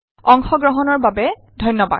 অংশ গ্ৰহণৰ বাবে ধন্যবাদ